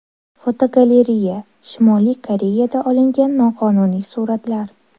Fotogalereya: Shimoliy Koreyada olingan noqonuniy suratlar.